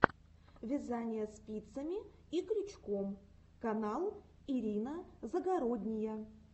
вязание спицами и крючком канал ирина загородния